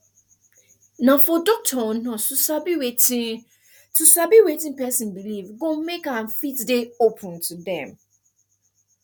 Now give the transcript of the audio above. na for doctor or nurse to sabi wetin to sabi wetin person belief go make am fit dey open to dem